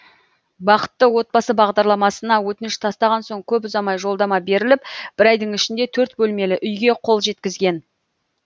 бақытты отбасы бағдарламасына өтініш тастаған соң көп ұзамай жолдама беріліп бір айдың ішінде төрт бөлмелі үйге қол жеткізген